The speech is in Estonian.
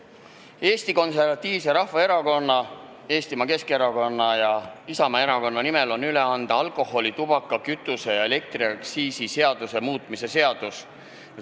Annan Eesti Konservatiivse Rahvaerakonna, Eesti Keskerakonna ja Isamaa fraktsiooni nimel üle alkoholi-, tubaka-, kütuse- ja elektriaktsiisi seaduse muutmise seaduse eelnõu.